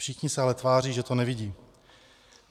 Všichni se ale tváří, že to nevidí.